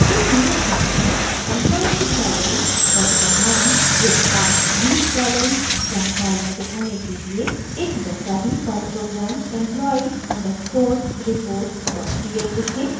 एक नियत कार्य में एम्प्लॉई की सैलरी पद का नाम डेसिग्नेशन विभाग डिपार्टमेंट लीव_बैलेंस जानकारियां दिखाने के लिए एक वैसा ही Perl program employee underscore reportpl लिखें